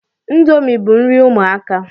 Ndomi bu nri ụmụaka